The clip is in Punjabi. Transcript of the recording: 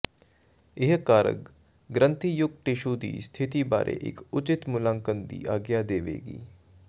ਇਹ ਕਾਰਕ ਗ੍ਰੰਥੀਯੁਕਤ ਟਿਸ਼ੂ ਦੀ ਸਥਿਤੀ ਬਾਰੇ ਇੱਕ ਉਚਿਤ ਮੁਲਾਂਕਣ ਦੀ ਆਗਿਆ ਦੇਵੇਗਾ